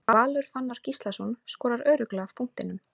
Valur Fannar Gíslason skorar örugglega af punktinum.